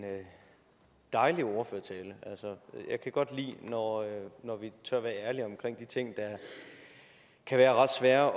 dejlig ordførertale jeg kan godt lide når når vi tør være ærlige omkring de ting der kan være ret svære